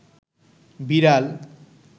বিড়াল